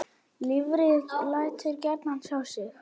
Lifrin lætur gjarnan á sjá.